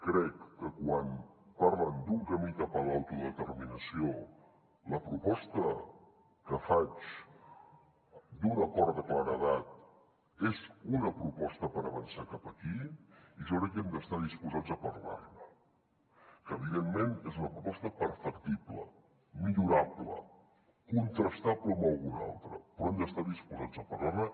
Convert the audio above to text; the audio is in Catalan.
crec que quan parlen d’un camí cap a l’autodeterminació la proposta que faig d’un acord de claredat és una proposta per avançar cap aquí i jo crec que hem d’estar disposats a parlar ne que evidentment és una proposta perfectible millorable contrastable amb alguna altra però hem d’estar disposats a parlar ne